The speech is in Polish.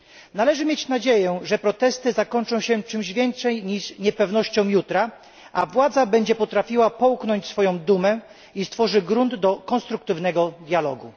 Należy mieć nadzieję, że protesty zakończą się czymś więcej niż niepewnością jutra, a władza będzie potrafiła przełknąć swoją dumę i stworzy grunt do konstruktywnego dialogu.